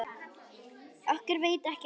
Okkur veitir ekki af.